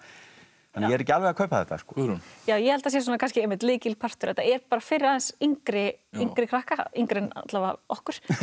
ég er ekki alveg að kaupa þetta Guðrún ég held að það sé kannski einmitt lykilpartur að þetta er bara fyrir aðeins yngri yngri krakka yngri en alla vega okkur